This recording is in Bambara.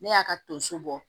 Ne y'a ka tonso bɔ